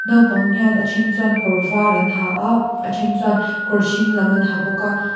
naupang hian a then chuan kawr var an ha a a then chuan kawr hring lam an ha bawk a.